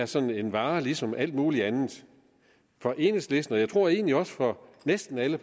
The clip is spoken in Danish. sådan en vare ligesom alt mulig andet for enhedslisten og egentlig også for næsten alle